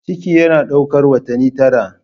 Ciki yana ɗaukar watanni tara.